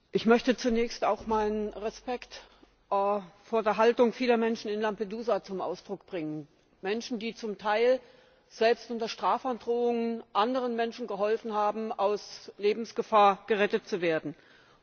Ich möchte zunächst auch meinen Respekt vor der Haltung vieler Menschen in Lampedusa zum Ausdruck bringen, die zum Teil selbst unter Strafandrohung anderen Menschen geholfen und sie aus Lebensgefahr gerettet haben.